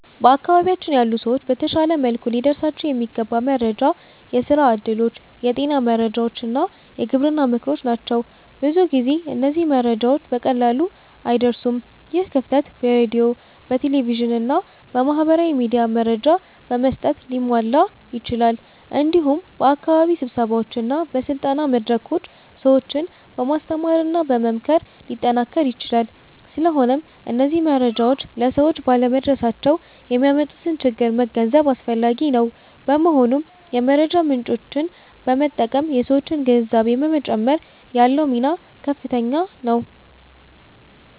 በአካባቢያችን ያሉ ሰዎች በተሻለ መልኩ ሊደርሳቸው የሚገባ መረጃ የስራ እድሎች፣ የጤና መረጃዎች እና የግብርና ምክሮች ናቸው። ብዙ ጊዜ እነዚህ መረጃዎች በቀላሉ አይደርሱም። ይህ ክፍተት በሬዲዮ፣ በቴሌቪዥን እና በማህበራዊ ሚዲያ መረጃ በመስጠት ሊሟላ ይችላል። እንዲሁም በአካባቢ ስብሰባዎች እና በስልጠና መድረኮች ሰዎችን በማስተማርና በመምከር ሊጠናከር ይችላል። ስለሆነም እነዚህ መረጃዎች ለሰዎች ባለመድረሳቸው የሚያመጡትን ችግር መገንዘብ አስፈላጊ ነው። በመሆኑም የመረጃ ምጮችን በመጠቀም የሠዎችን ግንዛቤ በመጨመር ያለው ሚና ከፍተኛ ነው።